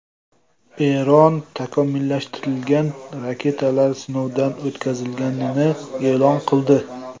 Eron takomillashtirilgan raketalar sinovdan o‘tkazilganini e’lon qildi.